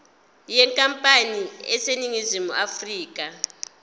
yenkampani eseningizimu afrika